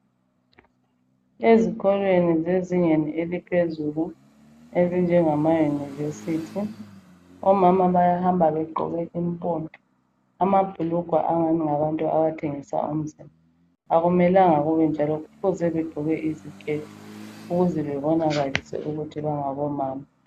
Ezikolweni zezingeni eliphezulu ezinjengama yunivesithi omama bayahamba begqoke impompi, amabhulugwa angani ngawabantu abathengisa umzimba. Akumelanga kunjalo, kufuze begqoke iziketi ukuzebebonakalise ukuthi bangabomama.